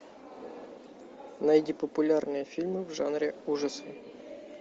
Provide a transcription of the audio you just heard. найди популярные фильмы в жанре ужасы